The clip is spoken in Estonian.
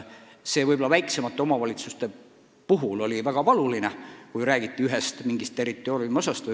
Seda ütles ka arupärijate esindaja, rääkides teatud territooriumiosadest.